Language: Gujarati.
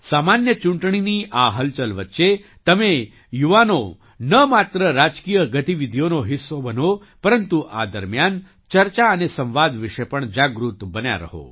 સામાન્ય ચૂંટણીની આ હલચલ વચ્ચે તમે યુવાનો ન માત્ર રાજકીય ગતિવિધિઓનો હિસ્સો બનો પરંતુ આ દરમિયાન ચર્ચા અને સંવાદ વિશે પણ જાગૃત બન્યા રહો